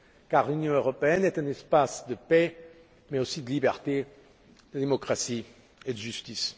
Car l'Union européenne est un espace de paix mais aussi de liberté, de démocratie et de justice.